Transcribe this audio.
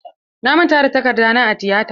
Na manta da takarda na a tiyata.